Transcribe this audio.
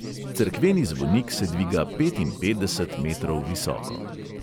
Cerkveni zvonik se dviga petinpetdeset metrov visoko.